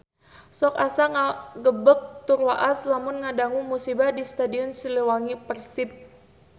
Sok asa ngagebeg tur waas lamun ngadangu musibah di Stadion Siliwangi Persib